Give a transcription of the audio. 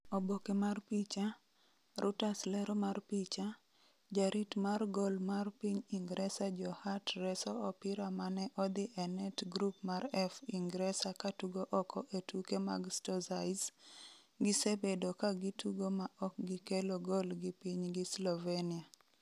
Oboke mar picha, Reuters Lero mar picha, Jarit mar gol mar piny Ingresa Joe Hart reso opira mane odhi e net Group mar F Ingresa katugo oko e tuke mag Stozice, gisebedo ka gitugo ma ok gikelo gol gi pinygi Slovenia.